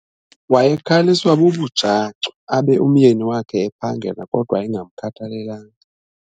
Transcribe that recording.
Wayekhaliswa bubujacu abe umyeni wakhe ephangela kodwa engamkhathalelanga.